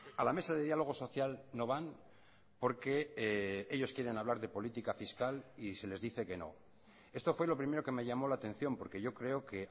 a la mesa de diálogo social no van porque ellos quieren hablar de política fiscal y se les dice que no esto fue lo primero que me llamó la atención porque yo creo que